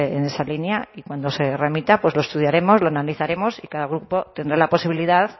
en esa línea y cuando se remita pues lo estudiaremos lo analizaremos y cada grupo tendrá la posibilidad